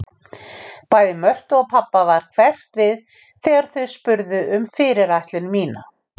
Bæði Mörtu og pabba varð hverft við þegar þau spurðu fyrirætlun mína.